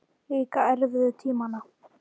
Líka erfiðu tímana.